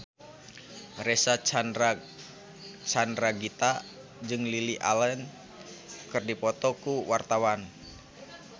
Reysa Chandragitta jeung Lily Allen keur dipoto ku wartawan